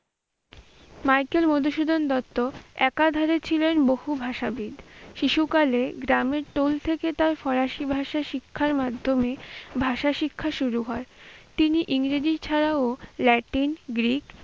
Michael Madhusudan Dutt একাধারে ছিলেন বহু ভাষাবিদ। শিশু কালে গ্রামের টোল থেকে তার ফরাসি ভাষা শিক্ষার মাধ্যমে ভাষা শিক্ষা শুরু হয়। তিনি ইংরেজি ছাড়াও ল্যাটিন, গ্রীক